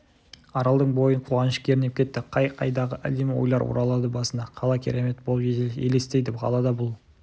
аралдың бойын қуаныш кернеп кетті қай-қайдағы әдемі ойлар оралады басына қала керемет болып елестейді қалада бұл